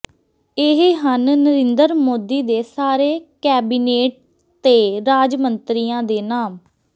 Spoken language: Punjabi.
ਇਹ ਹਨ ਨਰਿੰਦਰ ਮੋਦੀ ਦੇ ਸਾਰੇ ਕੈਬਿਨੇਟ ਤੇ ਰਾਜ ਮੰਤਰੀਆਂ ਦੇ ਨਾਮ